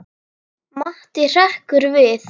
Matti hrekkur við.